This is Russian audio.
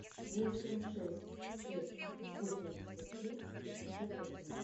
восемь шесть шесть восемьдесят три шестьдесят один